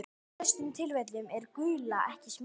En í flestum tilfellum er gula ekki smitandi.